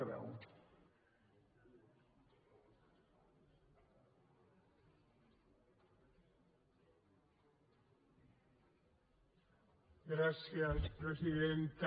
gràcies presidenta